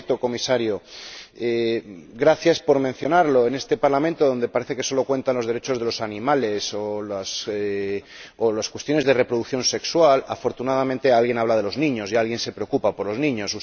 Por cierto, Comisario, gracias por mencionarlo en este Parlamento, en el que parece que solo cuentan los derechos de los animales o las cuestiones de reproducción sexual, afortunadamente alguien habla de los niños y alguien se preocupa por los niños.